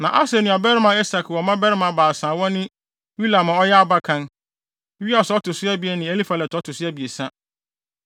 Na Asel nuabarima Esek wɔ mmabarima baasa a wɔne Ulam a ɔyɛ abakan, Yeus a ɔto so abien ne Elifelet a ɔto so abiɛsa.